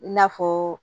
I n'a fɔ